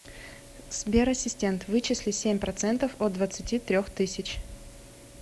сбер ассистент вычисли семь процентов от двадцати трех тысяч